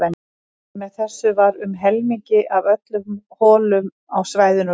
Með þessu var um helmingi af öllum holum á svæðinu lokað.